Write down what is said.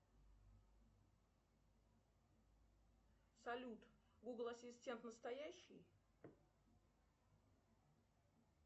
салют гугл ассистент настоящий